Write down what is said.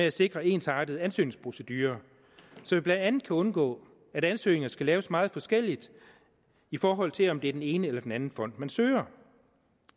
at sikre en ensartet ansøgningsprocedure så vi blandt andet kan undgå at ansøgninger skal laves meget forskelligt i forhold til om det er den ene eller den anden fond man søger